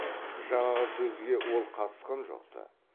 жаңағы сөзге ол қатысқан жоқ ты